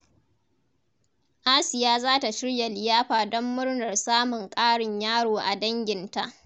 Asiya za ta shirya liyafa don murnar samun ƙarin yaro a danginta.